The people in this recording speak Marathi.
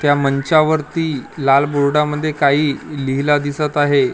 त्या मंचावरती लाल बोर्डामध्ये काही लिहिला दिसत आहे .